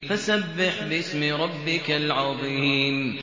فَسَبِّحْ بِاسْمِ رَبِّكَ الْعَظِيمِ